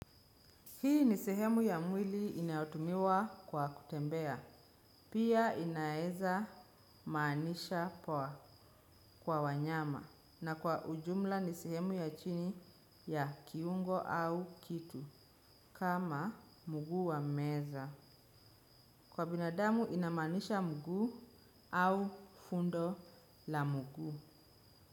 Hii ni sehemu ya mwili inayotumiwa kwa kutembea, pia inaweza maanisha poa kwa wanyama na kwa ujumla ni sehemu ya chini ya kiungo au kitu kama mguu wa meza. Kwa binadamu inamaanisha mguu au fundo la mguu.